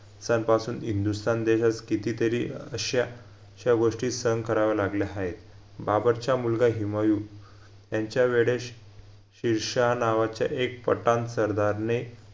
सन पासून हिंदुस्थान देशात कितीतरी अश्या श्या गोष्टी सहन कराव्या लागल्या हायत बाबरच्या मुलगा हिमयु यांच्या वेडेश शिरशाह नावाच्या एक पठाण सरदारने